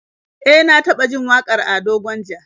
E, na taba jin wakar Ado Gwanja